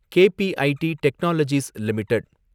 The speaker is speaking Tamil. K P I T technologies limited